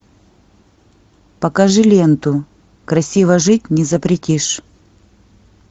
покажи ленту красиво жить не запретишь